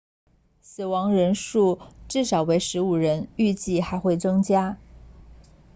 死亡人数至少为15人预计还会增加